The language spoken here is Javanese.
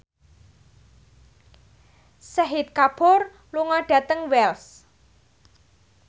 Shahid Kapoor lunga dhateng Wells